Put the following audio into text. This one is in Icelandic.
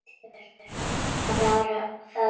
GRÍMUR: Var það ekki!